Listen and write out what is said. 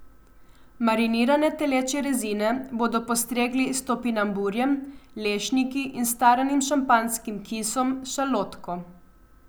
Marinirane telečje rezine bodo postregli s topinamburjem, lešniki in staranim šampanjskim kisom s šalotko.